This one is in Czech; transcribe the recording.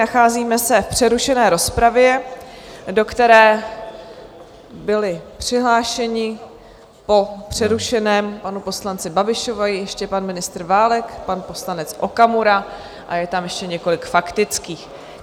Nacházíme se v přerušené rozpravě, do které byli přihlášeni, po přerušeném panu poslanci Babišovi, ještě pan ministr Válek, pan poslanec Okamura a je tam ještě několik faktických.